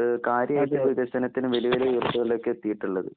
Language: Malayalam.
ഏഹ് കാര്യായിട്ട് വികസനത്തിന് വലിയൊരുഉയർച്ചകളിലേക്കെത്തീട്ടുള്ളത്.